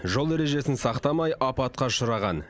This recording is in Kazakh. жол ережесін сақтамай апатқа ұшыраған